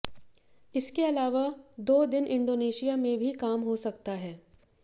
इसके अलावा दो दिन इंडोनेशिया में भी काम हो सकता है